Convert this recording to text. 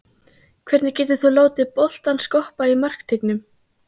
Hvernig getur þú látið boltann skoppa í markteignum?